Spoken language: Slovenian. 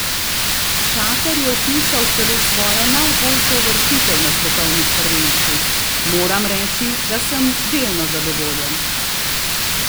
Čater je vpisal celo svojo najboljšo uvrstitev na svetovnih prvenstvih: "Moram reči, da sem delno zadovoljen.